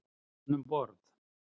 Var hann um borð?